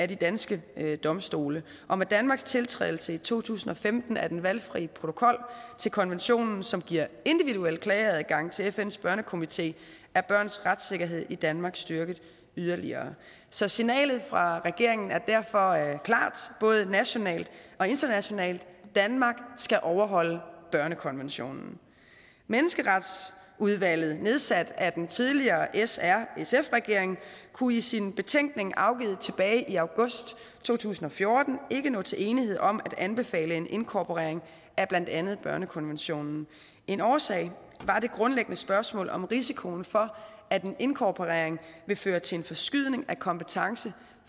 danske domstole og med danmarks tiltrædelse i to tusind og femten af den valgfri protokol til konventionen som giver individuel klageadgang til fns børnekomité er børns retssikkerhed i danmark styrket yderligere så signalet fra regeringen er derfor klart både nationalt og internationalt danmark skal overholde børnekonventionen menneskeretsudvalget nedsat af den tidligere srsf regering kunne i sin betænkning afgivet tilbage i august to tusind og fjorten ikke nå til enighed om at anbefale en inkorporering af blandt andet børnekonventionen en årsag var det grundlæggende spørgsmål om risikoen for at en inkorporering ville føre til en forskydning af kompetence